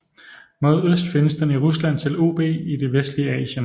Mod øst findes den i Rusland til Ob i det vestlige Asien